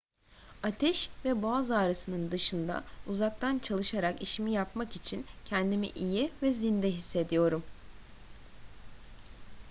ateş ve boğaz ağrısının dışında uzaktan çalışarak işimi yapmak için kendimi iyi ve zinde hissediyorum